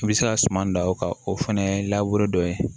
I bɛ se ka suman dan o kan o fana labure dɔ ye